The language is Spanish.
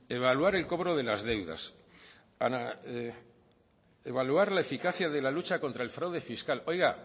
en eso evaluar el cobro de las deudas evaluar la eficacia de la lucha contra el fraude fiscal oiga